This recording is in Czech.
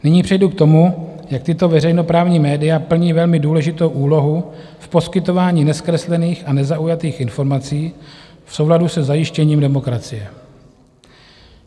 Nyní přejdu k tomu, jak tato veřejnoprávní média plní velmi důležitou úlohu v poskytování nezkreslených a nezaujatých informací v souladu se zajištěním demokracie.